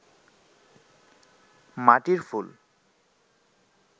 মাটির ফুল